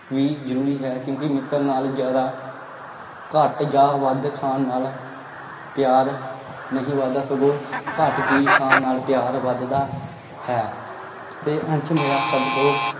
ਵੀ ਜ਼ਰੂਰੀ ਹੈ ਕਿਉਂਕਿ ਮਿੱਤਰ ਨਾਲ ਜ਼ਿਆਦਾ ਘੱਟ ਜਾਂ ਵੱਧ ਖਾਣ ਨਾਲ ਪਿਆਰ ਨਹੀ ਵੱਧਦਾ ਸਗੋਂ ਘੱਟ ਚੀਜ਼ ਖਾਣ ਨਾਲ ਪਿਆਰ ਵੱਧਦਾ ਹੈ ਤੇ ਅੰਸ਼ ਮੇਰਾ ਸਭ ਤੋਂ